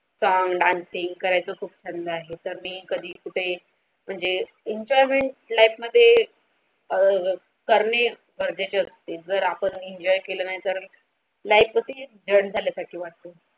song dancing करायचं खूप छंद आहे तर मी कधी कुठे म्हणजे Enjoyment मध्ये अ करणे गरजेचे असते जर आपण Enjoy केले नाही तर life केसे एक जन्द.